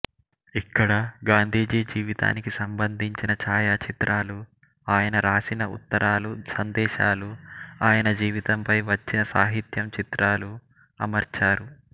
ఇక్కడ గాంధీజీ జీవితానికి సంబంధించిన ఛాయాచిత్రాలు ఆయన రాసిన ఉత్తరాలు సందేశాలు ఆయన జీవితంపై వచ్చిన సాహిత్యం చిత్రాలు అమర్చారు